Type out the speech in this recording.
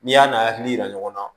N'i y'a n'a hakili yira ɲɔgɔn na